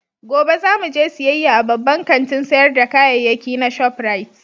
Gobe za mu je siyayya a babban kantin sayar da kayayyaki na Shop Rite